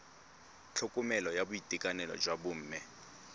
tlhokomelo ya boitekanelo jwa bomme